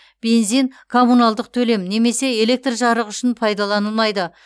бензин коммуналдық төлем немесе электр жарығы үшін пайдаланылмайды